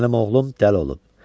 Mənim oğlum dəli olub.